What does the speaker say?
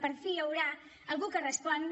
per fi hi haurà algú que respongui